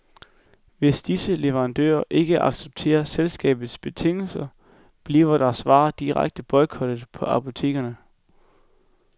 Hvis disse leverandører ikke accepterer selskabets betingelser, bliver deres varer direkte boykottet på apotekerne.